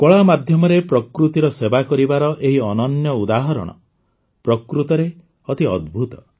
କଳା ମାଧ୍ୟମରେ ପ୍ରକୃତିର ସେବା କରିବାର ଏହି ଅନନ୍ୟ ଉଦାହରଣ ପ୍ରକୃତରେ ଅତି ଅଦ୍ଭୁତ